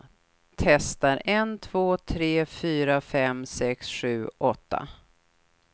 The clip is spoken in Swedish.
Testar en två tre fyra fem sex sju åtta.